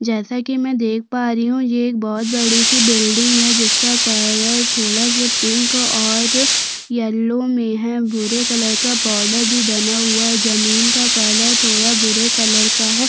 जैसा की में देख पा रही हु की एक बहोत बड़ी सी बिल्डिंग है जिसका कलर थोड़ा सा पिंक और यल्लो में है भूरे कलर का बॉडर भी बना हुआ है जमीन का कलर थोड़ा भूरे कलर का है।